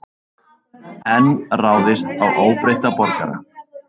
Enn ráðist á óbreytta borgara